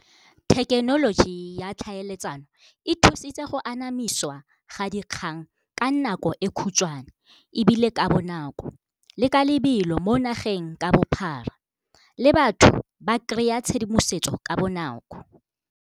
Thekenoloji ya tlhaeletsano e thusitse go anamisiwa ga dikgang ka nako e khutshwane, ebile ka bonako le ka lebelo mo nageng ka bophara le batho ba kry-a tshedimosetso ka bonako.